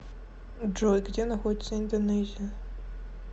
джой где находится индонезия